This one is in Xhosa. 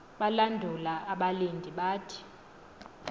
balandula abalindi bathi